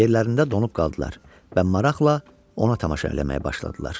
Yerlərində donub qaldılar və maraqla ona tamaşa eləməyə başladılar.